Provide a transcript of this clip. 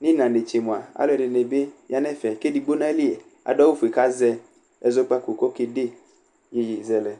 nʋ ɩɣɩna netse mʋa, alʋɛdɩnɩ bɩ ya nʋ ɛfɛ kʋ edigbo nʋ ayili adʋ awʋfue kʋ azɛ ɛzɔkpako kʋ ɔkede iyeyezɛlɛ